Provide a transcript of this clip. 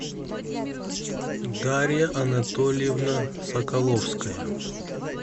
дарья анатольевна соколовская